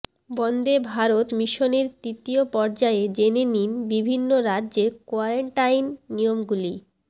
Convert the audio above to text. বন্দে ভারত মিশনের তৃতীয় পর্যায়ে জেনে নিন বিভিন্ন রাজ্যের কোয়ারেন্টাইন নিয়মগুলি